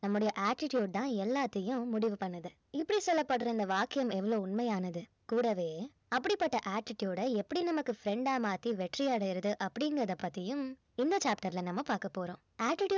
நம்மளுடைய attitude தான் எல்லாத்தையும் முடிவு பண்ணுது இப்படி சொல்லப்படுற இந்த வாக்கியம் எவ்வளவு உண்மையானது கூடவே அப்படிப்பட்ட attitude அ எப்படி நம்மக்கு friend ஆ மாத்தி வெற்றி அடையறது அப்படிங்கறத பத்தியும் இந்த chapter ல நம்ம பார்க்க போறோம்